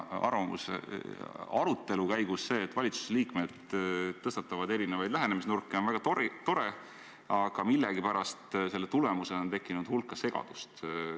Kui valitsuse liikmed arutelu käigus lubavad endale erinevaid lähenemisnurki, on väga tore, aga millegipärast on selle tagajärjel tekkinud hulk segadust.